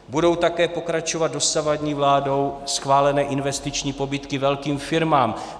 Budou také pokračovat dosavadní vládou schválené investiční pobídky velkým firmám.